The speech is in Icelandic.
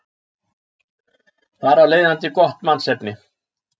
Þar af leiðandi gott mannsefni.